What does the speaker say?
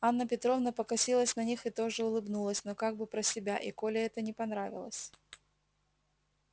анна петровна покосилась на них и тоже улыбнулась но как бы про себя и коле это не понравилось